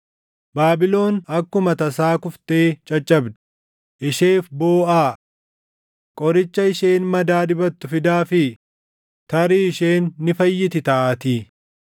Baabilon akkuma tasaa kuftee caccabdi; isheef booʼaa! Qoricha isheen madaa dibattu fidaafii; tarii isheen ni fayyiti taʼaatii.